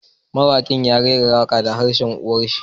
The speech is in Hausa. Mawakin ya rera wakar da harshen uwa shi